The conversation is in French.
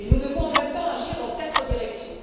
Nous devons en même temps agir dans quatre directions.